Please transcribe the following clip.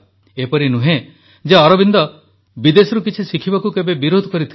ଏପରି ନୁହେଁ ଯେ ଶ୍ରୀଅରବିନ୍ଦ ବିଦେଶରୁ କିଛି ଶିଖିବାକୁ କେବେ ବିରୋଧ କରିଥିଲେ